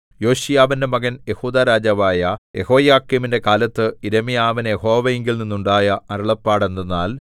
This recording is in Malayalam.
യോശീയാവിന്റെ മകൻ യെഹൂദാ രാജാവായ യെഹോയാക്കീമിന്റെ കാലത്ത് യിരെമ്യാവിന് യഹോവയിങ്കൽ നിന്നുണ്ടായ അരുളപ്പാട് എന്തെന്നാൽ